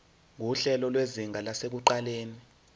nguhlelo lwezinga lasekuqaleni